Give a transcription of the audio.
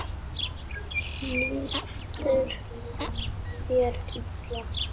Líður þér illa?